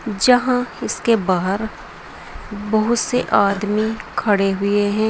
जहां इसके बाहर बहुत से आदमी खड़े हुए हैं।